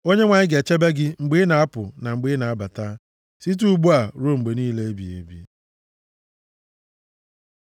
Onyenwe anyị ga-echebe gị mgbe ị na-apụ na mgbe ị na-abata abata, site ugbu a ruo mgbe niile ebighị ebi.